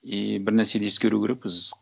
и бір нәрсені ескеру керекпіз